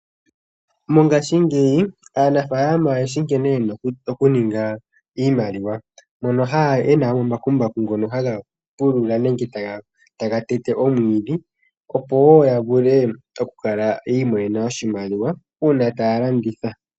Mongashingeyi aanafaalama oyeshi nkene yena okuninga iimaliwa, mono yena omambakumbaku ngono haga pulula nenge taga tete omwiidhi opo woo ya vule okukala yiimonene oshimaliwa uuna taya landitha.